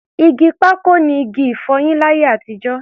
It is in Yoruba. Igi pákò ni igi-ìfọyín láyé àtijọ́.